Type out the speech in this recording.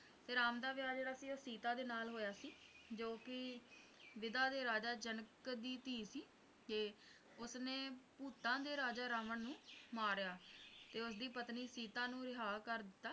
ਤੇ ਰਾਮ ਦਾ ਵਿਆਹ ਜਿਹੜਾ ਹੈ ਉਹ ਸੀਤਾ ਦੇ ਨਾਲ ਹੋਇਆ ਸੀ ਜੋ ਕਿ ਕੇ ਵਿਧਾ ਦੇ ਰਾਜਾ ਜਨਕ ਦੀ ਧੀ ਸੀ ਤੇ ਓਹਨੇ ਭੂਤਾਂ ਦੇ ਰਾਜਾ ਰਾਵਣ ਨੂੰ ਮਾਰਿਆ ਤੇ ਉਸਦੀ ਪਤਨੀ ਸੀਤਾ ਨੂੰ ਰਿਹਾ ਕਰ ਦਿੱਤਾ